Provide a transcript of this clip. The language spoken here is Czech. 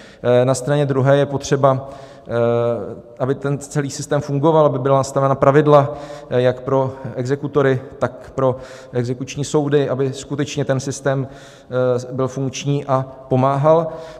Na straně druhé je potřeba, aby ten celý systém fungoval, aby byla nastavena pravidla jak pro exekutory, tak pro exekuční soudy, aby skutečně ten systém byl funkční a pomáhal.